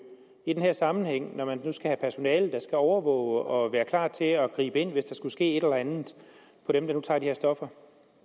i den her sammenhæng når man nu skal have personale der skal overvåge og være klar til at gribe ind hvis der skulle ske et eller andet for dem der nu tager de her stoffer